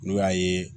N'u y'a ye